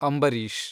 Ambareesh